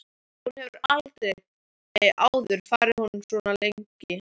Hún hefur aldrei áður farið frá honum svona lengi.